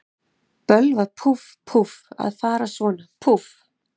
Bölvað, púff, púff, að fara svona, púff.